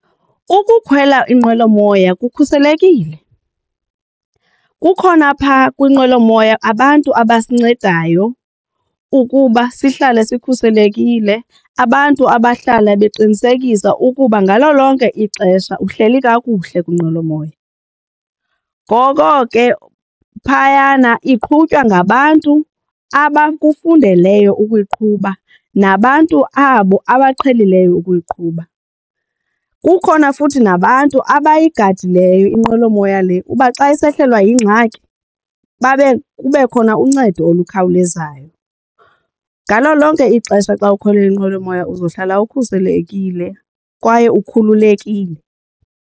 Ukukhwela inqwelomoya kukhuselekile. Kukhona phaa kwinqwelomoya abantu abasincedayo ukuba sihlale sikhuselekile, abantu abahlala beqinisekisa ukuba ngalo lonke ixesha uhleli kakuhle kwinqwelomoya. Ngoko ke phayana iqhutywa ngabantu abakufundeleyo ukuyiqhuba nabantu abo abaqhelileyo ukuyiqhuba. Kukhona futhi nabantu abayigadileyo inqwelomoya le uba xa isehlelwa yingxaki babe kube khona uncedo olukhawulezayo ngalo lonke ixesha. Xa ukhwela inqwelomoya uzohlala ukhuselekile kwaye ukhululekile.